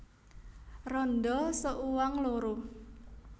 Randha seuang loro